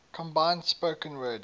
combined spoken word